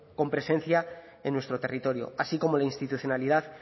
con presencia en nuestro territorio así como la institucionalidad